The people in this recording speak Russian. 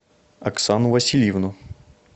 оксану васильевну